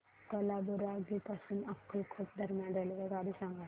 कालाबुरागी पासून अक्कलकोट दरम्यान रेल्वेगाडी सांगा